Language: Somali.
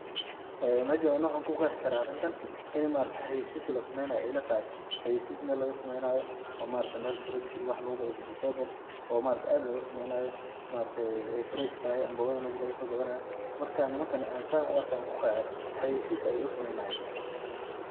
Mejan ani waxan kuqeexi karaa arintan ani ma aragta xayisiis lasameyni hayo ayay ila tahay, xayisiis Mel laga sameynayo oo ma aragte Mel fruits iyo wax lugu gado vegetable oo ma aragte aad loga sameynayo ma aragte ay fresh tahay ambogada meshi lagaso gadanayo, markan nimanka San u arke on kuqeexe xayisiis ayay usameynayan